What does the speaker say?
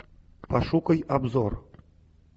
пошукай обзор